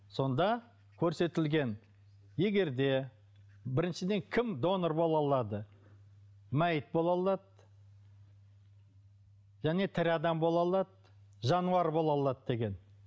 сонда көрсетілген егер де біріншіден кім донор бола алады мәйіт бола алады және тірі адам бола алады жануар бола алады деген